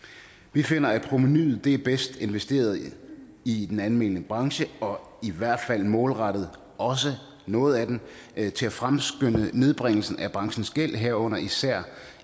vi finder at provenuet er bedst investeret i i den almene branche og i hvert fald målrettet også noget af den til at fremskynde nedbringelse af branchens gæld herunder især